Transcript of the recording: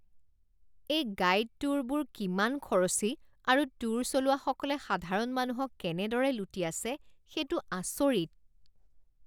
এই গাইড ট্যুৰবোৰ কিমান খৰচী আৰু ট্যুৰ চলোৱাসকলে সাধাৰণ মানুহক কেনেদৰে লুটি আছে সেইটো আচৰিত।